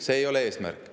See ei ole eesmärk.